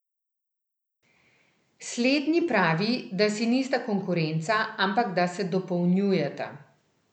Slednji pravi, da si nista konkurenca, ampak da se dopolnjujeta.